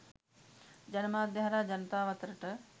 ජනමාධ්‍ය හරහා ජනතාව අතරට